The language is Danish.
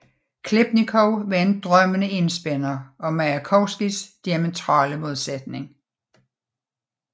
Khlebnikov var en drømmende enspænder og Majakovskijs diametrale modsætning